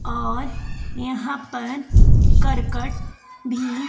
और यहां पर करकट भी--